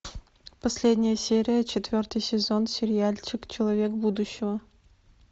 последняя серия четвертый сезон сериальчик человек будущего